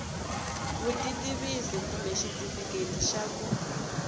vutitivisi kumbe xitifiketi xa ku